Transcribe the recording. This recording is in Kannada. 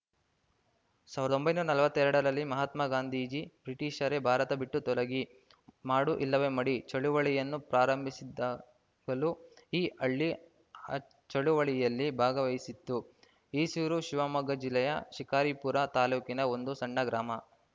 ಸಾವಿರದ ಒಂಬೈನೂರ ನಲವತ್ತೆರಡರಲ್ಲಿ ಮಹಾತ್ಮ ಗಾಂಧೀಜಿ ಬ್ರಿಟಿಷರೇ ಭಾರತ ಬಿಟ್ಟು ತೊಲಗಿ ಮಾಡು ಇಲ್ಲವೇ ಮಡಿ ಚಳವಳಿಯನ್ನು ಪ್ರಾರಂಭಿಸಿದಾಗಲೂ ಈ ಹಳ್ಳಿ ಆ ಚಳವಳಿಯಲ್ಲಿ ಭಾಗವಹಿಸಿತ್ತು ಈಸೂರು ಶಿವಮೊಗ್ಗ ಜಿಲ್ಲೆಯ ಶಿಕಾರಿಪುರ ತಾಲೂಕಿನ ಒಂದು ಸಣ್ಣ ಗ್ರಾಮ